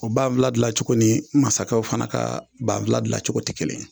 O banfula dilan cogo ni mansakɛw fana ka banfula dilan cogo tɛ kelen ye.